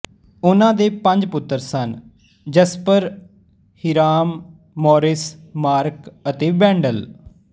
ਉਨ੍ਹਾਂ ਦੇ ਪੰਜ ਪੁੱਤਰ ਸਨ ਜੈਸਪਰ ਹੀਰਾਮ ਮੌਰਿਸ ਮਾਰਕ ਅਤੇ ਵੈਂਡਲ